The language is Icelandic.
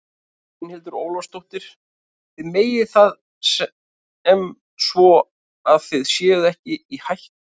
Brynhildur Ólafsdóttir: Þið metið það sem svo að þið séuð ekki í hættu?